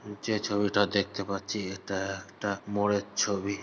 যে ছবিটা দেখতে পাচ্ছি এতা একটা মোড়ের ছবি।